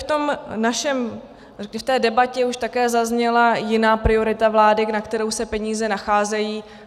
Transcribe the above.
v té debatě už také zazněla jiná priorita vlády, na kterou se peníze nacházejí.